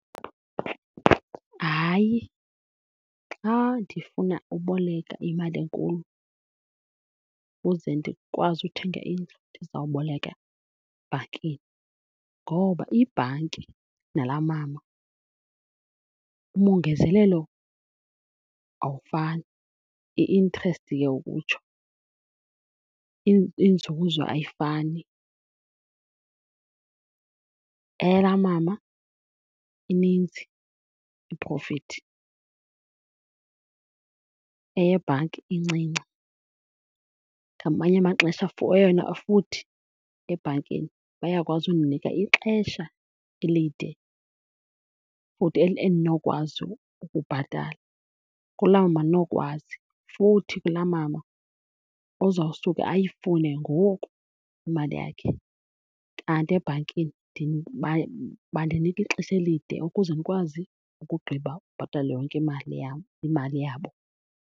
Hayi, xa ndifuna uboleka imali enkulu ukuze ndikwazi uthenga indlu ndizawuboleka ebhankini ngoba ibhanki nalaa mama umongezelelo awufani, i-interest ke ukutsho. Inzuzo ayifani, eyalaa mama ininzi iprofithi, eyebhanki incinci. Ngamanye amaxesha eyona, futhi ebhankini bayakwazi undinika ixesha elide futhi endinokwazi ukubhatala, kulaa mama andinokwazi. Futhi kulaa mama uzawusuke ayifune ngoku imali yakhe, kanti ebhankini bandinika ixesha elide ukuze ndikwazi ukugqiba ubhatala yonke imali yam, imali yabo.